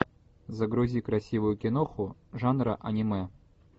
загрузи красивую киноху жанра аниме